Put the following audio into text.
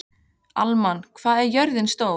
Hallmann, hvað er jörðin stór?